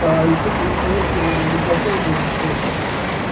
и что-то я понять не могу мы знакомы или что там